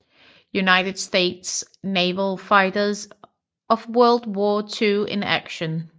United States Naval Fighters of World War II in Action